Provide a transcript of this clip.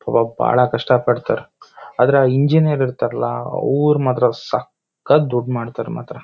ಪಾಪ ಬಾಳ ಕಷ್ಟ ಪಡ್ತರ್ ಆದ್ರೆ ಆಹ್ಹ್ ಇಂಜಿನಿಯರ್ ಇರ್ತಾರೆ ಅಲ ಅವರ್ ಮಾತ್ರ ಸಖ್ಖತ್ ದುಡ್ಡ್ ಮಾಡ್ತರ್ ಮಾತ್ರ.